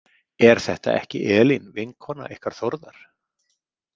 Er þetta ekki Elín vinkona ykkar Þórðar?